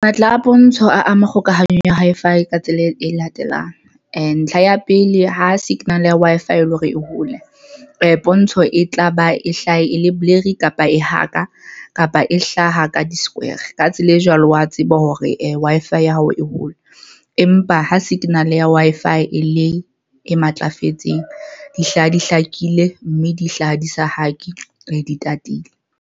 Matla a pontsho a ama kgokahanyo ya Wi-Fi ka tsela e latelang ntlha ya pele ha signal ya Wi-Fi, e le hore e hole pontsho e tlaba e hlahe ele blurry kapa e haka kapa e hlaha ka di-square ka tsela e jwalo, wa tseba hore Wi-Fi ya hao e hole, empa ha signal ya Wi-Fi e le e matlafetseng, di hlaha, di hlakile mme di hlaha di sa hake di tatile.